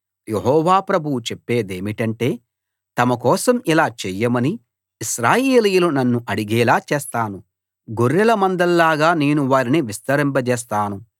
యెహోవా ప్రభువు చెప్పేదేమిటంటే తమ కోసం ఇలా చేయమని ఇశ్రాయేలీయులు నన్ను అడిగేలా చేస్తాను గొర్రెల మందల్లాగా నేను వారిని విస్తరింపజేస్తాను